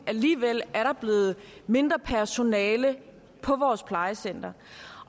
alligevel blevet mindre personale på vores plejecentre